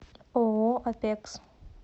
ооо апекс